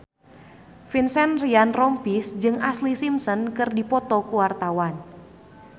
Vincent Ryan Rompies jeung Ashlee Simpson keur dipoto ku wartawan